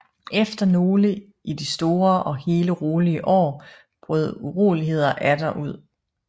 Efter nogle i det store og hele rolige år brød uroligheder atter ud